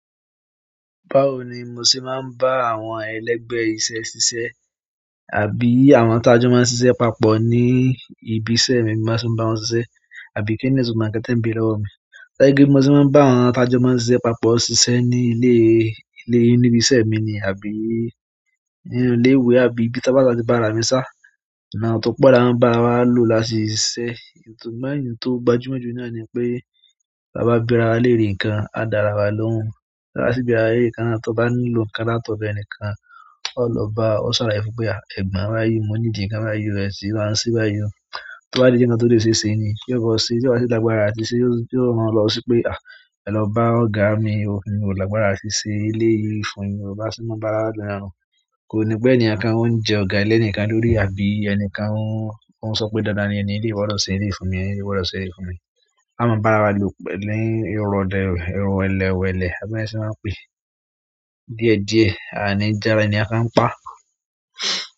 Báwo ni mo ṣe máa ń bá àwọn ẹlẹgbẹ́ iṣẹ́ ṣiṣẹ́? Àbí àwọn atajọ́ máa ń ṣiṣẹ́ papọ̀ ní ibi iṣẹ́ mi bá ti ń bá wọn ṣiṣẹ́ àbí kíni itunmo nkan te n beẹ̀re lọwọ́ mi? Ṣé kí i mo ṣe máa ń bá àwọn atajọ́ máa ń ṣiṣẹ́ papọ̀ ṣiṣẹ́ ní ilé, ilé ìbi iṣẹ́ mi ni àbí ní ilé ìwé àbí ibi tí a bá ti bá ra mi sá. Ìmọ̀ tó pọ̀ là ń bá wa lò láti ṣiṣẹ́. Ṣùgbọ́n èyí tó gbajúmọ̀ jù náà ni pé tá bá bera wa lérè nǹkan, a dára wa lóhùn. Á sì bára lérè nǹkan, tí ó bá nílò nǹkan látọ̀dọ̀ ẹnìkan, ó lọ bá, ó ṣàlaye fún pé, ah, ẹ̀gbọ́n bá yí, mo need nǹkan bá yí o, ẹ sì máa ṣe bá yí o. To bá ti nkan tó lè ṣe ṣe ni, kí ó bọ́ sí, tí ó bá ṣe lágbára àti ṣẹ́, yóò máa lọ sí pé, "à, ẹ lọ bá ọ̀gá mi, hun ò lágbára àti ṣẹ́ eleyìí fún yin o." ba si ti maa n bara wa lo niyen o. Kò ní pé ènìyàn kan ó ń jẹ ọ̀gá lé ẹnìkan lórí àbí ẹnìkan ó ń sọ pé dándán ni ẹni eleyìí gbodo ṣe èleyi fún mi, ẹni yìí wọ́ lọ ṣe èyí fún mi. A máa bá ara wa lò pẹ̀lú irun ọdẹ, irun wẹ́lẹ́wẹ̀lẹ́, àbí báwo ni wọn se maa n pé díẹ̀díẹ̀, àní ja ẹnikẹ́ni ni pa.